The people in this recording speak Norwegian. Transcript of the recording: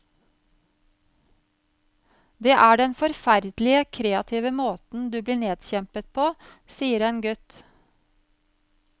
Det er den forferdelige kreative måten du blir nedkjempet på, sier en gutt.